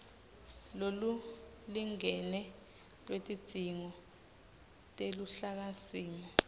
lolulingene lwetidzingo teluhlakasimo